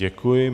Děkuji.